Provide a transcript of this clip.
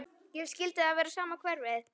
Skyldi það vera sama hverfið?